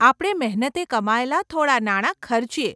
આપણે મહેનતે કમાયેલા થોડાં નાણા ખર્ચીએ.